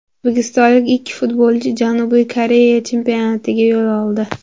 O‘zbekistonlik ikki futbolchi Janubiy Koreya chempionatiga yo‘l oldi.